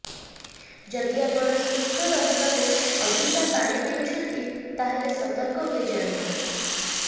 ଯଦି ଆପଣ ସୁସ୍ଥ ରହିବାକୁ ଅଧିକା ପାଣି ପିଉଛନ୍ତି ତାହାଲେ ସତର୍କ ହୋଇଯାଆନ୍ତୁ